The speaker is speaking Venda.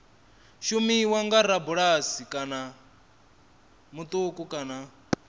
shumiswa nga rabulasi muṱuku kana